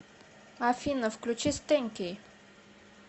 афина включи стэнки